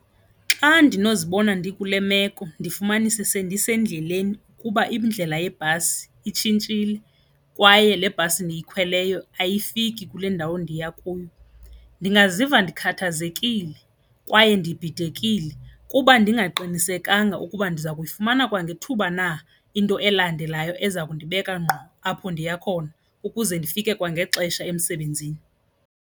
Xa ndinozibona ndikule meko ndifumanise sendisendleleni ukuba indlela yebhasi itshintshile kwaye le bhasi ndiyikhweleyo ayifiki kule ndawo ndiya kuyo, ndingaziva ndikhathazekile kwaye ndibhidekile kuba ndingaqinisekanga ukuba ndiza kuyifumana kwangethuba na into elandelayo eza kundibeka ngqo apho ndiya khona ukuze ndifike kwangexesha emsebenzini.